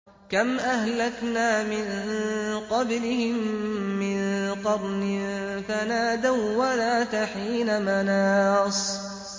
كَمْ أَهْلَكْنَا مِن قَبْلِهِم مِّن قَرْنٍ فَنَادَوا وَّلَاتَ حِينَ مَنَاصٍ